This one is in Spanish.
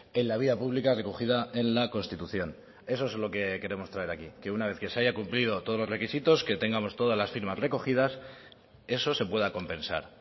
en la vida pública recogida en la constitución eso es lo que queremos traer aquí que una vez que se haya cumplido todos los requisitos que tengamos todas las firmas recogidas eso se pueda compensar